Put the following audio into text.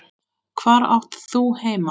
Hvar átt þú heima?